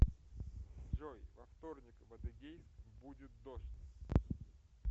джой во вторник в адыгейск будет дождь